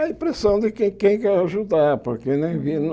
A impressão de quem quer ajudar. Porque ninguém